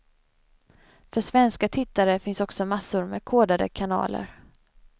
För svenska tittare finns också massor med kodade kanaler.